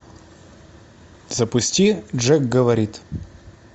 запусти джек говорит